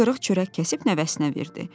Bir qırıq çörək kəsib nəvəsinə verdi.